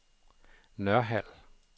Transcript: Nørhald